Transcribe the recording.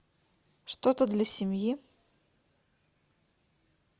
что то для семьи